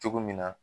Cogo min na